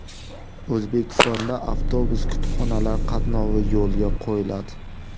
O‘zbekistonda avtobus-kutubxonalar qatnovi yo‘lga qo‘yiladi.